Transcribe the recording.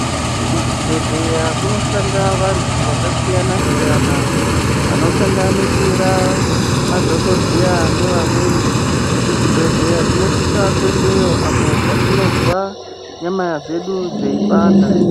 Kuzvibhedhleya kushanda vantu akasiyana-siyana anosanganisira madhokodheya nevamweni kuzvibhedhleya tinosisa kuendayo apo patinozwa kuti nyama dzedu dzeipanda